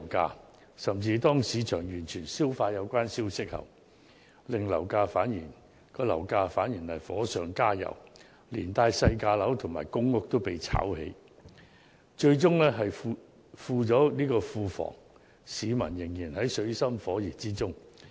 更甚的是，當市場完全消化有關消息後，樓市反而火上加油，連帶細價樓和公屋也被"炒"起，最終只是富了庫房，但市民卻仍然在水深火熱之中。